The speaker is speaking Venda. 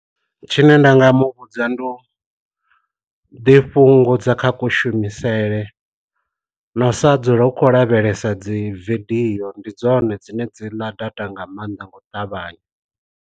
Tshine nda nga mu vhudza ndi u ḓi fhungo dza kha ku shumisele, na u sa dzula ukho lavhelesa dzi vidio ndi dzone dzine dzi ḽa data nga maanḓa ngo ṱavhanya.